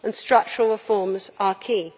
Structural reforms are key.